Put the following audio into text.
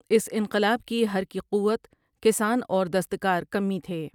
اس انقلاب کی حرکی قوت کسان اور دستکار کمی تھے۔